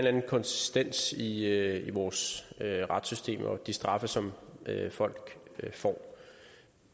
anden konsistens i i vores retssystem og de straffe som folk får